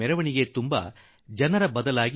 ಬರೀ ಮಾವಿನ ಸಸಿಗಳೇ ನನ್ನ ಕಣ್ಣಿಗೆ ಬಿದ್ದವು